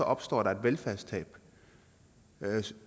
opstår der et velfærdstab